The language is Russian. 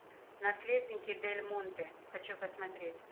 наследники дельмонте хочу посмотреть